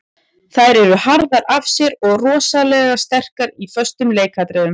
Þær eru harðar af sér og rosalega sterkar í föstum leikatriðum.